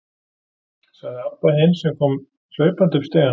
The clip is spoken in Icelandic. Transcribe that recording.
sagði Abba hin, sem kom hlaupandi upp stigann.